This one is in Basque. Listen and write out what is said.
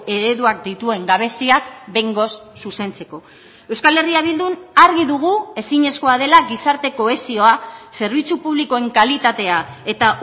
ereduak dituen gabeziak behingoz zuzentzeko euskal herria bildun argi dugu ezinezkoa dela gizarte kohesioa zerbitzu publikoen kalitatea eta